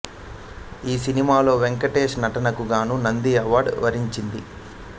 ఈ సినిమాలో వెంకటేష్ నటనకు గాను నంది అవార్డ్ వరించింది